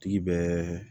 Tigi bɛ